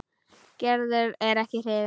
Gerður er ekki hrifin.